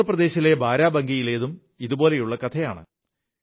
ഉത്തർ പ്രദേശിലെ ബാരാബങ്കിയിലേതും ഇതുപോലെതന്നെയുള്ള കഥയാണ്